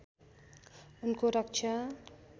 उनको रक्षा